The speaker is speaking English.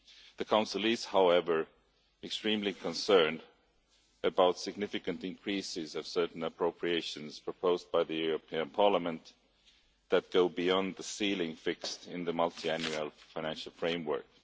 The Council is, however, extremely concerned about significant increases to certain appropriations proposed by the European Parliament that go beyond the ceiling fixed in the Multiannual Financial Framework.